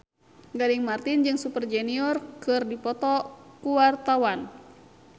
Gading Marten jeung Super Junior keur dipoto ku wartawan